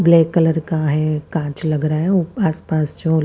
black colour का है कांच लग रहा है आस पास जो--